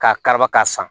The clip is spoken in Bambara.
K'a kariba k'a san